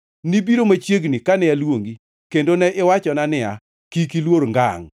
Nibiro machiegni kane aluongi kendo ne iwachona niya, “Kik iluor ngangʼ.”